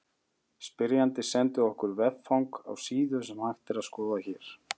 Spyrjandi sendi okkur veffang á síðu sem hægt er að skoða hér.